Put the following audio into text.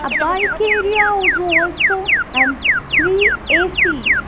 a bike area also and three A_C.